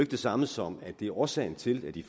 det samme som at det er årsagen til at de